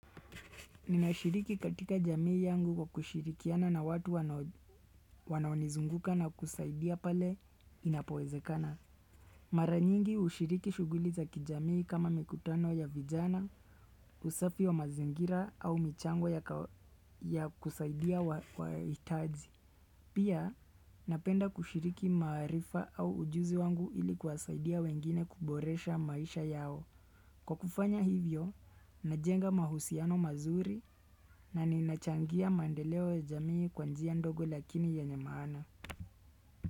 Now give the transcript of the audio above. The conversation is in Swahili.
Ninashiriki katika jamii yangu kwa kushirikiana na watu wanao wanaonizunguka na kusaidia pale inapowezekana. Mara nyingi hushiriki shughuli za kijamii kama mikutano ya vijana, usafi wa mazingira au michango ya kawa kusaidia wahitaji. Pia napenda kushiriki maarifa au ujuzi wangu ili kuwasaidia wengine kuboresha maisha yao. Kwa kufanya hivyo, najenga mahusiano mazuri na ninachangia mandeleo ya jamii kwa njia ndogo lakini yenye maana.